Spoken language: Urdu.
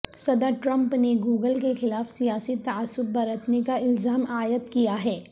صدر ٹرمپ نے گوگل کے خلاف سیاسی تعصب برتنے کا الزام عائد کیا ہے